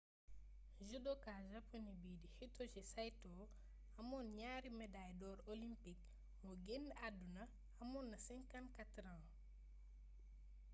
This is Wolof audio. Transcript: judoka japoné bii di hitoshi saito amoon ñaari medaay dor olympique moo génn àdduna amoon na 54 at